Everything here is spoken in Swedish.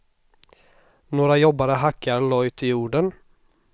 Några jobbare hackar lojt i jorden.